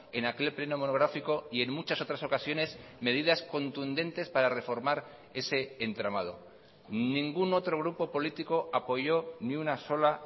en aquel pleno monográfico y en muchas otras ocasiones medidas contundentes para reformar ese entramado ningún otro grupo político apoyó ni una sola